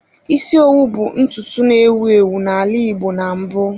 Isi owu bụ ntutu na-ewu ewu n'ala igbo na mbụ